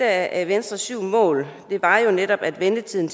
af venstres syv mål var jo netop at ventetiden